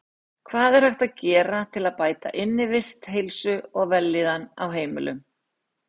Hvað er hægt að gera til að bæta innivist, heilsu og vellíðan á heimilum?